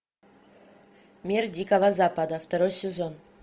мир дикого запада второй сезон